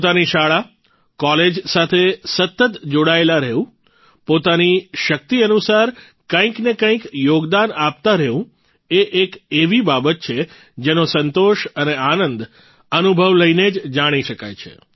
પોતાની શાળા કોલેજ સાથે સતત જોડાયેલા રહેવું પોતાની શક્તિ અનુસાર કંઇક ને કંઇક યોગદાન આપતા રહેવું એ એક એવી બાબત છે જેનો સંતોષ અને આનંદ અનુભવ લઇને જ જાણી શકાય છે